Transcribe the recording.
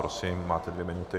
Prosím, máte dvě minuty.